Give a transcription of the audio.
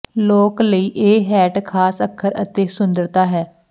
ਲੋਕ ਲਈ ਇਹ ਹੈੱਟ ਖਾਸ ਅੱਖਰ ਅਤੇ ਸੁੰਦਰਤਾ ਹੈ